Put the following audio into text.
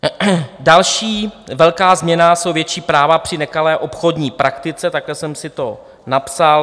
Další velká změna jsou větší práva při nekalé obchodní praktice, takhle jsem si to napsal.